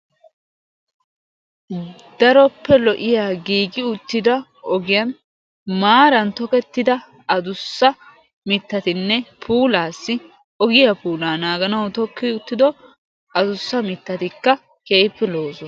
Daroppe lo7iya giigi uttida ogiyan maaran tokettida adussa mittatinne puulaassi ogiya puulaa naaganauw tokki uttido adussa mittatikka keehippe lo7osona.